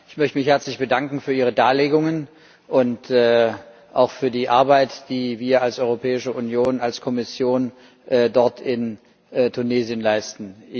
Ich möchte mich herzlich bedanken für Ihre Darlegungen und auch für die Arbeit, die wir als Europäische Union, als Kommission dort in Tunesien leisten.